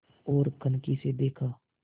ओर कनखी से देखा